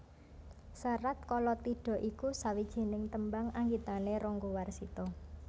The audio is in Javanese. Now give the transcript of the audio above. Serat Kalatidha iku sawijining tembang anggitané Ranggawarsita